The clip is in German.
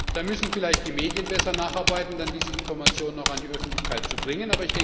Da müssen vielleicht die Medien besser nacharbeiten, um dann diese Informationen auch an die Öffentlichkeit zu bringen.